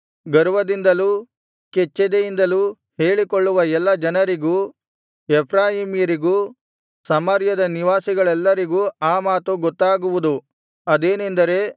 ಗರ್ವದಿಂದಲೂ ಕೆಚ್ಚೆದೆಯಿಂದಲೂ ಹೇಳಿಕೊಳ್ಳುವ ಎಲ್ಲಾ ಜನರಿಗೂ ಎಫ್ರಾಯೀಮ್ಯರಿಗೂ ಸಮಾರ್ಯದ ನಿವಾಸಿಗಳೆಲ್ಲರಿಗೂ ಆ ಮಾತು ಗೊತ್ತಾಗುವುದು ಅದೇನೆಂದರೆ